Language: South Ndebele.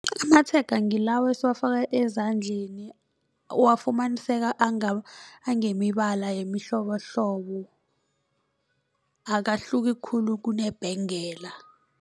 Amatshega ngilawa esiwafaka ezandleni uwafumaniseka angemibala yemihlobohlobo akahluki khulu kunebhengela.